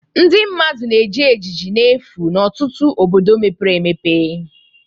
Ndị mmadụ na-eji ejiji n'efu n'ọtụtụ obodo mepere emepe